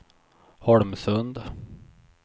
Holmsund